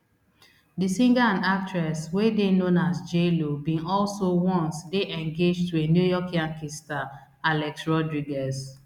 di singer and actress wey dey known as jlo bin also once dey engaged to new york yankees star alex rodriguez